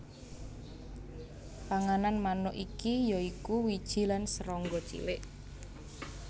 Panganan manuk iki ya iku wiji lan serangga cilik